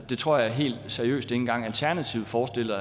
det tror jeg helt seriøst ikke engang alternativet forestiller